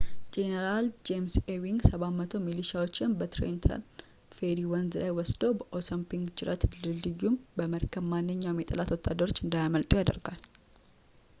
ጄኔራል ጄምስ ኤዊንግ 700 ሚሊሻዎችን በትሬንተን ፌሪ ወንዝ ላይ ወስዶ በአሶንፒንክ ጅረት ድልድዩን በመረከብ ማንኛውንም የጠላት ወታደሮች እንዳያመልጡ ያደረጋል